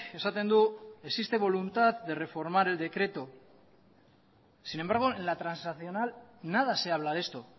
esaten du existe voluntad de reformar el decreto sin embargo en la transaccional nada se habla de esto